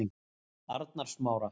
Arnarsmára